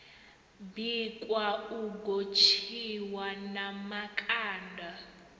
bikwa u gotshiwa na makanda